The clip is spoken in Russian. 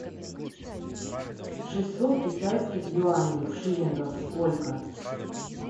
шестьсот китайских юаней в шиллингах сколько